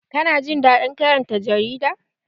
Kana jin daɗin karanta jarida?